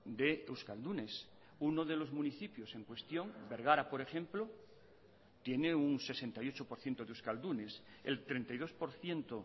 de euskaldunes uno de los municipios en cuestión bergara por ejemplo tiene un sesenta y ocho por ciento de euskaldunes el treinta y dos por ciento